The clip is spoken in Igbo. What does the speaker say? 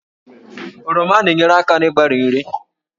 Oroma na-enyere aka n'ịgbari nri